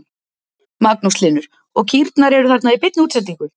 Magnús Hlynur: Og kýrnar eru þarna í beinni útsendingu?